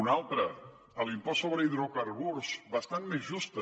una altra l’impost sobre hidrocarburs bastant més justa